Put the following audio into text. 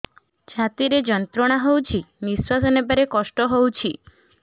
ଛାତି ରେ ଯନ୍ତ୍ରଣା ହଉଛି ନିଶ୍ୱାସ ନେବାରେ କଷ୍ଟ ହଉଛି